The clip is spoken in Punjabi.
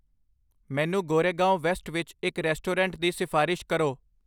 ਮੈਨੂੰ ਗੋਰੇਗਾਂਵ ਵੈਸਟ ਵਿੱਚ ਇੱਕ ਰੈਸਟੋਰੈਂਟ ਦੀ ਸਿਫ਼ਾਰਿਸ਼ ਕਰੋ